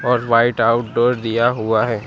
और white outdoor दिया हुआ है।